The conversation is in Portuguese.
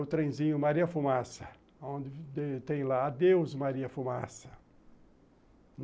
O trenzinho Maria Fumaça, onde tem lá Adeus Maria Fumaça.